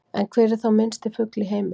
En hver er þá minnsti fugl í heimi?